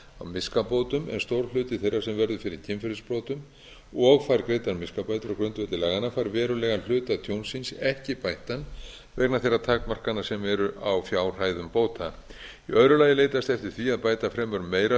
miskabótum en stór hluti þeirra sem verður fyrir kynferðisbrotum og fær greiddar miskabætur á grundvelli laganna fær verulegan hluta tjónsins ekki bættan vegna þeirra takmarkana sem eru á fjárhæðum bóta í öðru lagi er leitast eftir því að bæta fremur meira tjón en